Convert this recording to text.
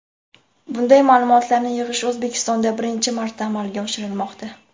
Bunday ma’lumotlarni yig‘ish O‘zbekistonda birinchi marta amalga oshirilmoqda.